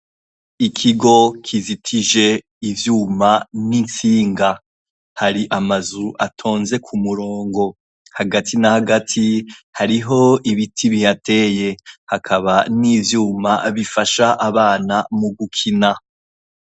Ikigo kizitije ivyuma nitsinga hari amazu atonze kumurongo hagati na hagati hariho ibiti bihateye hakaba nivyuma bifasha abana mugukina